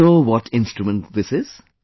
Do you know what instrument this is